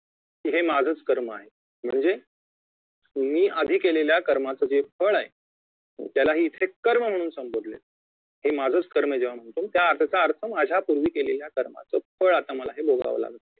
हे माझंच कर्म आहे म्हणजे तुम्ही आधी केलेल्या कर्माचे जे फळ आहे त्यालाही इथे कर्म म्हणून संबोधले जाते हे माझंच कर्म जेव्हा म्हणतो त्या त्याचा अर्थ माझ्या पूर्वी केलेल्या कर्माच फळ आता मला हे भोगावं लागत